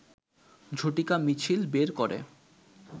ঝটিকা মিছিল বের করে